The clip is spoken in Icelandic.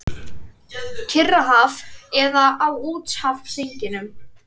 Kyrrahaf eða á úthafshryggjum.